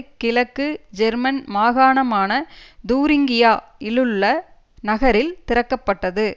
கிழக்கு ஜெர்மன் மாகாணமான தூரிங்கியா இலுள்ள நகரில் திறக்க பட்டது